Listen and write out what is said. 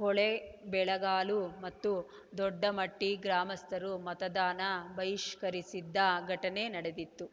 ಹೊಳೆಬೆಳಗಾಲು ಮತ್ತು ದೊಡ್ಡಮಟ್ಟಿಗ್ರಾಮಸ್ಥರು ಮತದಾನ ಬಹಿಷ್ಕರಿಸಿದ್ದ ಘಟನೆ ನಡೆದಿತ್ತು